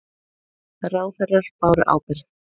Ráðherrar báru ábyrgð